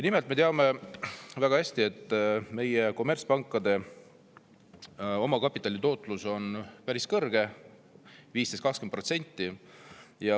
Nimelt, me teame väga hästi, et meie kommertspankade omakapitali tootlus on päris kõrge, 15–20%.